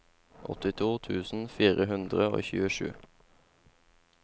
åttito tusen fire hundre og tjuesju